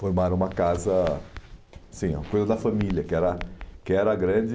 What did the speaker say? Formaram uma casa... Sim, uma coisa da família, que era que era a grande...